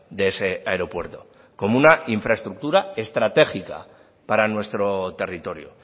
de ese aeropuerto como una infraestructura estratégica para nuestro territorio